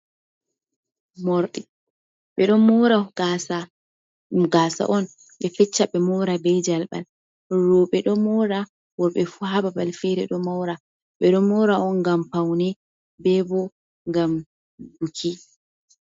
Morɗi ɓe ɗo mora gasa on, be fecca be mura bei jalɓal ruɓe ɗo mura worɓe, fu ha ɓaɓal fere ɗo mora be don mura on gam paune ɓe ɓo ngam buki